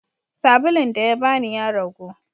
sabulun dayabani yaragu